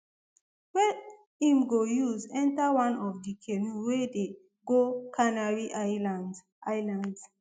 wey im go use enta one of di canoe wey dey go canary islands islands